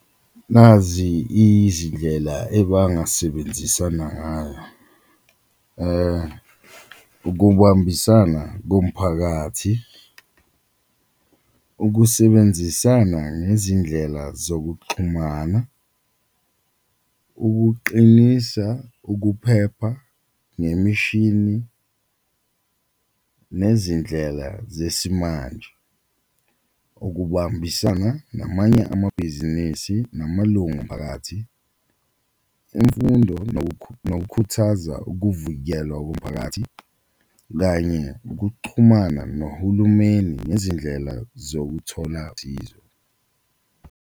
Nazi izindlela ebangasebenzisana ngayo ukubambisana komphakathi, ukusebenzisana ngezindlela zokuxhumana, ukuqinisa ukuphepha, ngemishini, nezindlela zesimanje, ukubambisana namanye amabhizinisi namalungu omphakathi, imfundo nokukhuthaza, ukuvikelwa komphakathi kanye ukuchumana nohulumeni nezindlela zokuthola .